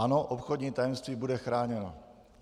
Ano, obchodní tajemství bude chráněno.